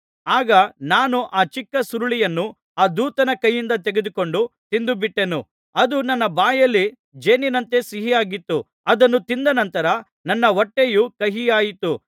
ಆಗ ನಾನು ಆ ಚಿಕ್ಕ ಸುರುಳಿಯನ್ನು ಆ ದೂತನ ಕೈಯಿಂದ ತೆಗೆದುಕೊಂಡು ತಿಂದುಬಿಟ್ಟೆನು ಅದು ನನ್ನ ಬಾಯಲ್ಲಿ ಜೇನಿನಂತೆ ಸಿಹಿಯಾಗಿತ್ತು ಅದನ್ನು ತಿಂದ ನಂತರ ನನ್ನ ಹೊಟ್ಟೆಯು ಕಹಿಯಾಯಿತು